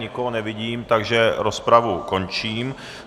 Nikoho nevidím, takže rozpravu končím.